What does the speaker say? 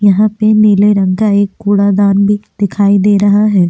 यहां पे नीले रंग का एक कूड़ा दान भी दिखाई दे रहा है।